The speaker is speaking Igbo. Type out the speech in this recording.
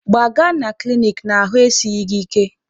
Gbaga na klinik n'ahụ esighi gị ike!